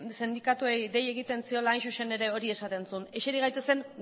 sindikatuei dei egiten ziela hain zuzen ere hori esaten zuen eseri gaitezen